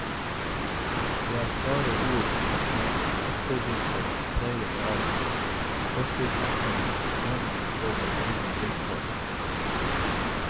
Det er klare ord i en ettervinter preget av forskersamfunnts jammer over egne vilkår.